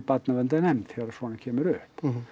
barnaverndarnefnd þegar svona kemur upp